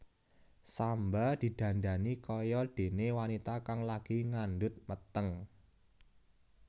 Samba didandani kaya dene wanita kang lagi ngandhut meteng